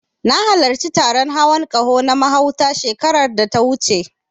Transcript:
Na halarci taron hawan ƙaho na mahauta, shekarar da ta wuce.